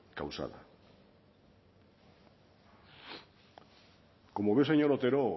causada como ve señor otero